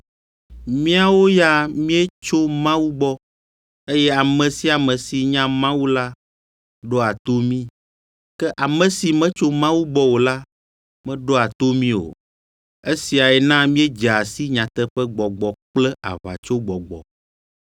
Míawo ya míetso Mawu gbɔ, eye ame sia ame si nya Mawu la ɖoa to mí; ke ame si metso Mawu gbɔ o la meɖoa to mí o. Esiae na míedzea si Nyateƒegbɔgbɔ kple aʋatsogbɔgbɔ.